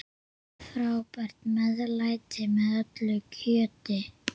Frábært meðlæti með öllu kjöti.